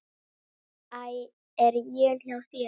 Æ. Er él hjá þér!